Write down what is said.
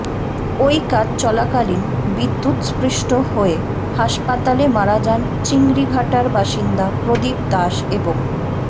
ওই কাজ চলাকালীন বিদ্যুৎস্পৃষ্ট হয়ে হাসপাতালে মারা যান চিংড়িঘাটার বাসিন্দা প্রদীপ দাস এবং